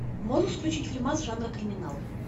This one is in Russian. можешь включить фильмас жанра криминал